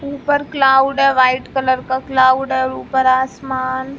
ऊपर क्लाउड है white colour का क्लाउड है ऊपर आसमान--